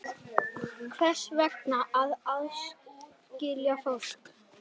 Hvers vegna að aðskilja fólk?